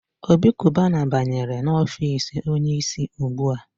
Obi Kubana banyere n'ọfici onye isi ugbua.